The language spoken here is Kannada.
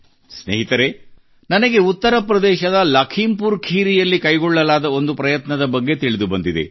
ಸ್ನೇಹಿತರೆ ನನಗೆ ಉತ್ತರ ಪ್ರದೇಶದ ಲಖೀಂಪುರ್ ಖೀರಿಯಲ್ಲಿ ಕೈಗೊಳ್ಳಲಾದ ಒಂದು ಪ್ರಯತ್ನದ ಬಗ್ಗೆ ತಿಳಿದುಬಂದಿದೆ